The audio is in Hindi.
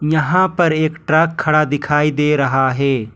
यहां पर एक ट्रक खड़ा दिखाई दे रहा है।